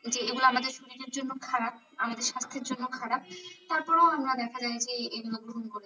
এগুলো আমাদের শরীরের জন্য খারাপ। আমাদের স্বাস্থ্যের জন্য খারাপ। তারপরও আমরা দেখা যায় যে এগুলো গ্রহণ